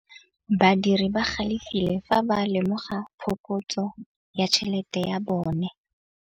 Badiri ba galefile fa ba lemoga phokotsô ya tšhelête ya bone.